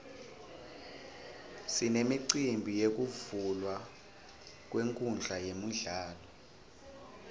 sinemicimbi yekuvulwa kwenkhundla yemidlalo